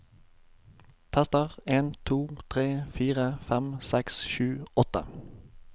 Tester en to tre fire fem seks sju åtte